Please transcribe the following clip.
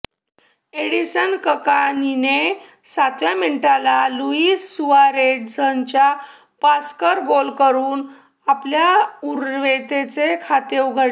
Edinson ककानीने सातक्या मिनिटाला लुईस सुआरेझच्या पासकर गोल करून आपल्या उरुग्वेचे खाते उघडले